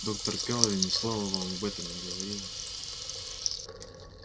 доктор кэлвин ни слова вам об этом не говорила